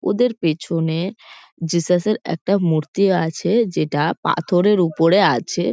ওদের পেছনে জেসাস -এর একটা মূর্তি আছে যেটা পাথরের ওপরে আছে।